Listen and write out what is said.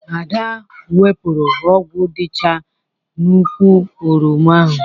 Ada wepụrụ ogwu dịcha n'ukwụ oroma ahụ.